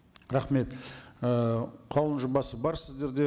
рахмет ііі қаулы жобасы бар сіздерде